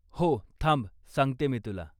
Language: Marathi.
हो, थांब सांगते मी तुला.